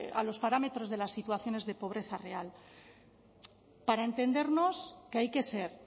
a los parámetros de las situaciones de pobreza real para entendernos que hay que ser